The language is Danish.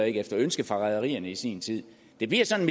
efter ønske fra rederierne i sin tid det bliver sådan